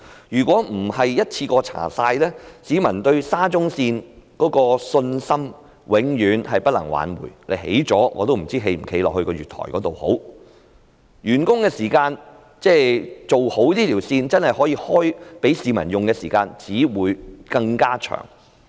如果不是一次過調查的話，永遠不能夠挽回市民對沙中線的信心，即使建成我也不知應否踏足那月台，而這條路線的完工時間，即可供市民使用的時間，只會更加延後。